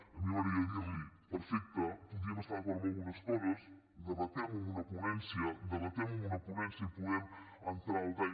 a mi m’agradaria dirli perfecte podíem estar d’acord amb algunes coses debatemho amb una ponència debatemho amb una ponència i podem entrar al detall